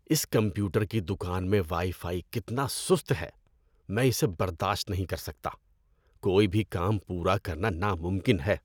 اس computer کی دکان میں وائی فائی کتنا سست ہے میں اسے برداشت نہیں کر سکتا۔ کوئی بھی کام پورا کرنا ناممکن ہے۔